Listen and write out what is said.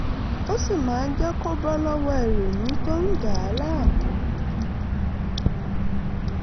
ó sì máa ń jẹ́ kó bọ́ lọ́wọ́ ìrònú tó ń dà á láàmú